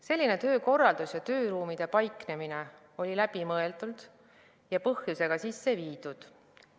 Selline töökorraldus ja tööruumide paiknemine oli läbimõeldud ja põhjusega sisse viidud.